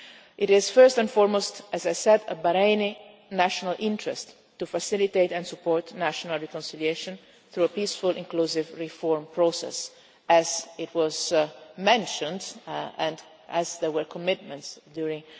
It is first and foremost, as I said, in Bahrain's national interest to facilitate and support national reconciliation through a peaceful, inclusive reform process, as was mentioned, and as there were commitments during